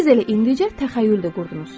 Siz elə indicə təxəyyüldə qurdunuz.